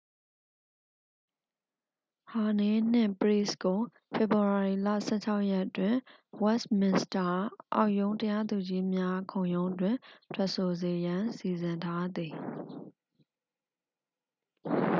ဟာနေးနှင့် ပရိစ်ကို ဖေဖော်ဝေါ်ရီလ 16 ရက်တွင် ဝက်စ်မင်စတာ အောက်ရုံးတရားသူကြီးများ ခုံရုံးတွင် ထွက်ဆိုစေရန် စီစဉ်ထားသည်